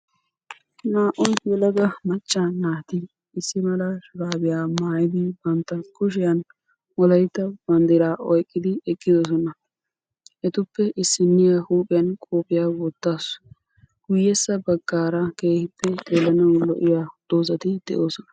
naa"u uelaga macca naati issi mala shurabbiya maayyidi bantta kushiyaan wolaytta banddira oyqqidi eqqidoosona; etuppe issiniya huuphiyan kopiyiyya wottaasu; guyyessa baggara keehippe xeelanaw lo"iya dozati de'oosona